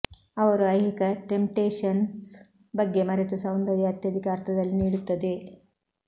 ಅವರು ಐಹಿಕ ಟೆಂಪ್ಟೇಷನ್ಸ್ ಬಗ್ಗೆ ಮರೆತು ಸೌಂದರ್ಯ ಅತ್ಯಧಿಕ ಅರ್ಥದಲ್ಲಿ ನೀಡುತ್ತದೆ